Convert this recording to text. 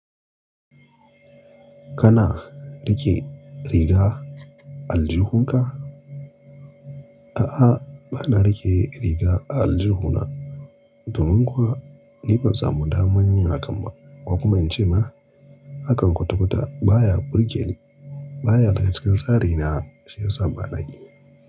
Kana riƙe riga aljihunka? A'a, ba na riƙe riga aljihuna. Domin kuwa ni ban samu damar yin hakan ba, ko kuma in ce ma hakan kwata-kwata baya burge ni. Baya daga cikin tsari na, shi yasa ba na yi.